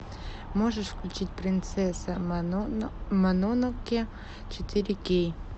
можешь включить принцесса мононоке четыре кей